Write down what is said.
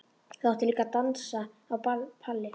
Það átti líka að dansa á palli.